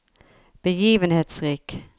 begivenhetsrik